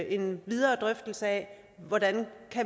en videre drøftelse af hvordan